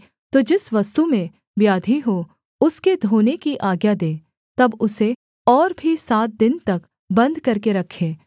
तो जिस वस्तु में व्याधि हो उसके धोने की आज्ञा दे तब उसे और भी सात दिन तक बन्द करके रखे